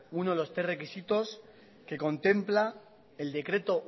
uno de los tres requisitos que contempla el decreto